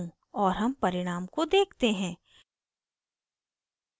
और हम परिणाम को देखते हैं